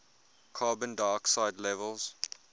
carbon dioxide levels